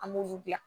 An b'olu bila